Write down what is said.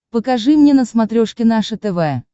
покажи мне на смотрешке наше тв